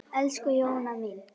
Elsku Jóna mín.